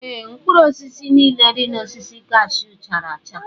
Ee, mkpụrụ osisi niile dị na osisi cashew chara acha.